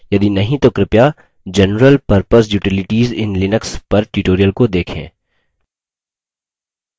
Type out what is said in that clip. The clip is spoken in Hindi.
यदि नहीं तो कृपया general purpose utilities in linux पर tutorial को देखें